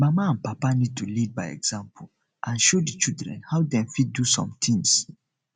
mama and papa need to lead by example and show di children how dem fit do some things some things